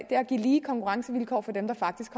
at give lige konkurrencevilkår for dem der faktisk